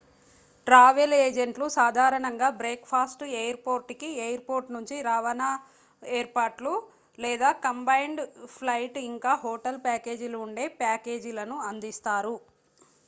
travel ఏజెంట్లు సాధారణంగా breakfast airport కి /ఎయిర్ పోర్ట్ నుంచి రవాణా ఏర్పాట్లు లేదా కంబైన్డ్ ఫ్లైట్ ఇంకా హోటల్ ప్యాకేజీలు ఉండే ప్యాకేజీలను అందిస్తారు